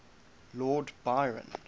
lord byron